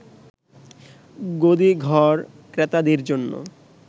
গদিঘর ক্রেতাদের জন্য